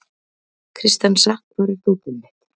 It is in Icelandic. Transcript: Kristensa, hvar er dótið mitt?